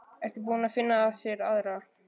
Ertu búinn að finna þér aðra?